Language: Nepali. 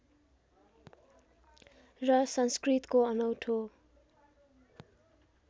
र संस्कृतको अनौठो